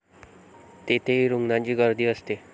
तेथेही रुग्णांची गर्दी असते.